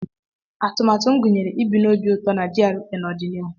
Atụmatụ m gụnyere ibi n'obi ụtọ na GRA n'ọdịnihu.